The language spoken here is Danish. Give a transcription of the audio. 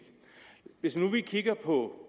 hvis vi nu kigger på